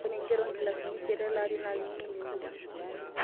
Ore nkera oonkilaini isiet elaari naa keing'eni oleng'.